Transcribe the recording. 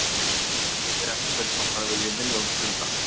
Þetta er eins og að spyrja einhvern hvort hann vilji milljón punda.